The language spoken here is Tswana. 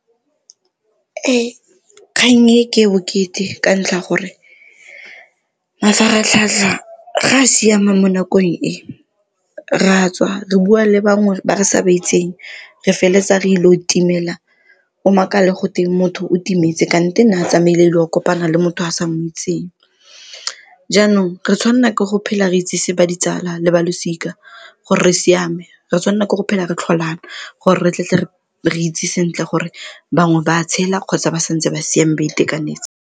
Ee, kgang e ke e bokete ka ntlha ya gore mafaratlhatlha ga a siama mo nakong e, re a tswa re bua le bangwe ba re sa ba itseng re feletsa re ilo timela o makale gotwe motho o timetse kante ne a tsamaile go kopana le motho a sa mo itseng. Jaanong, re tshwanela ke go phela re itsise ba ditsala le ba losika gore re siame re tshwanela ke go phela re tlholana gore re tle tle re itse sentle gore bangwe ba tshela kgotsa ba santse ba siame ba itekanetse.